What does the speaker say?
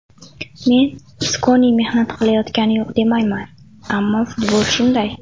Men Iskoni mehnat qilayotgani yo‘q demayman, ammo futbol shunday.